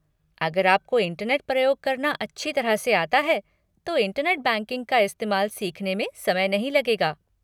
अगर आपको इंटरनेट प्रयोग करना अच्छी तरह से आता है तो इंटरनेट बैंकिंग का इस्तेमाल सीखने में समय नहीं लगेगा।